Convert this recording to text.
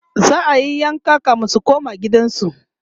za'ayi yanka kamin su koma gidan